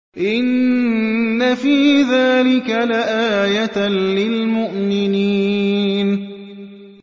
إِنَّ فِي ذَٰلِكَ لَآيَةً لِّلْمُؤْمِنِينَ